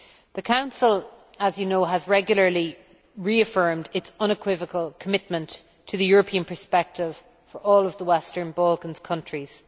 The Council, as you know, has regularly reaffirmed its unequivocal commitment to the European perspective for all of the Western Balkan countries.